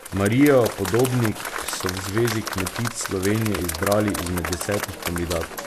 Marijo Podobnik so v Zvezi kmetic Slovenije izbrali izmed desetih kandidatk.